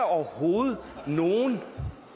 overhovedet nogen